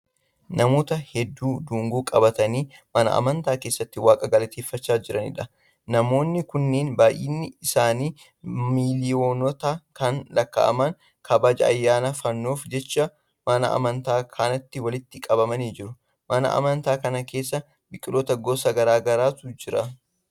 Namoota hedduu dungoo qabatanii mana amantaa keessatti waaqa galateeffachaa jiraniidha. Namoonni kunneen baayinni isaanii miliyoonotaan kan lakkaa'aman kabaja ayyaana fannoof jecha mana amantaa kanatti walitti qabamanii jiru. Mana amantaa kana keessa biqiloota gosa garaa garaatu jira.